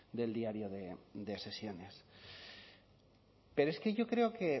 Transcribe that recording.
del diario de sesiones pero es que yo creo que